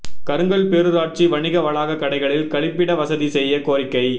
கருங்கல் பேரூராட்சி வணிக வளாக கடைகளில் கழிப்பிட வசதி செய்ய கோரிக்கை